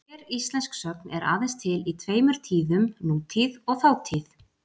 Hver íslensk sögn er aðeins til í tveimur tíðum, nútíð og þátíð.